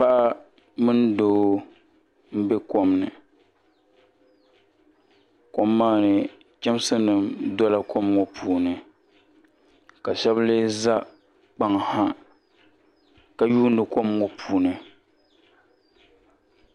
Paɣa mini doo mbɛ kom ni kom maa ni chɛmsi nima dola kom ŋɔ puuni ka shɛba lee za kpaŋ ha ka yuuni kom ŋɔ puuni.